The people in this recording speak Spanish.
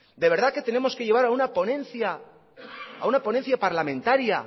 de verdad que tenemos que lleva a una ponencia parlamentaria